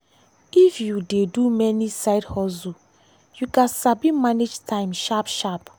if you dey do many side hustle you gats sabi manage time sharp-sharp.